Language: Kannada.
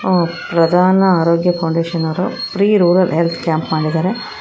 ಪ್ರಧಾನ ಆರೋಗ್ಯ ಫೌಂಡೇಶನ್ ಅವರು ಫ್ರೀ ರೂರಲ್ ಹೆಲ್ತ್ ಕ್ಯಾಂಪ್ ಮಾಡಿದ್ದಾರೆ.